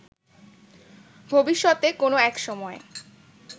ভবিষ্যতে কোনো একসময়